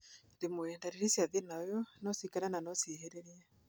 Rwĩmwe, ndariri cia thĩna ũyũ nocikare na no ciĩhĩrĩrie